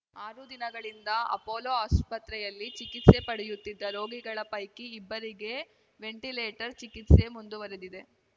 ಆರು ದಿನಗಳಿಂದ ಅಪೋಲೋ ಆಸ್ಪತ್ರೆಯಲ್ಲಿ ಚಿಕಿತ್ಸೆ ಪಡೆಯುತ್ತಿದ್ದ ರೋಗಿಗಳ ಪೈಕಿ ಇಬ್ಬರಿಗೆ ವೆಂಟಿಲೇಟರ್‌ ಚಿಕಿತ್ಸೆ ಮುಂದುವರೆದಿದೆ